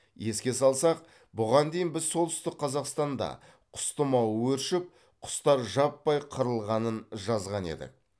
еске салсақ бұған дейін біз солтүстік қазақстанда құс тымауы өршіп құстар жаппай қырылғанын жазған едік